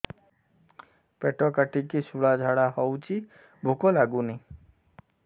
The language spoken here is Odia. ପେଟ କାଟିକି ଶୂଳା ଝାଡ଼ା ହଉଚି ଭୁକ ଲାଗୁନି